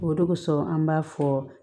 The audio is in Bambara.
O de kosɔn an b'a fɔ